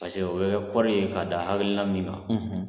paseke o bɛ kɛ kɔɔrɔri ye k'a da hakilila min kan